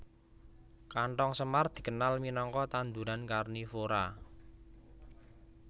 Kanthong semar dikenal minangka tanduran karnivora